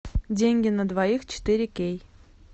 деньги на двоих четыре кей